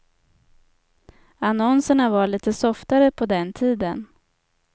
Annonserna var lite softare på den tiden.